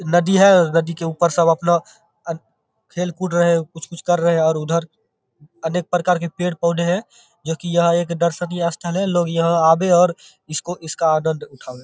नदी है और नदी के ऊपर सब अपना खेल कूद रहे है और कुछ-कुछ कर रहे हैं और उधर अनेक प्रकार के पेड़-पौधे है जो की यहाँ एक दर्शनीय स्थल है। लोग यहाँ आवे और इसको इसका आनंद उठावे।